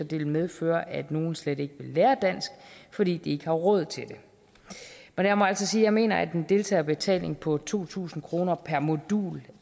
det vil medføre at nogle slet ikke vil lære dansk fordi de ikke har råd til det men jeg må altså sige at jeg mener at en deltagerbetaling på to tusind kroner per modul